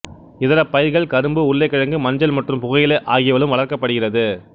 இதர பயிர்கள் கரும்பு உருளைக்கிழங்கு மஞ்சள் மற்றும் புகையிலை ஆகியவைகளும் வளர்க்கப்படுகிறது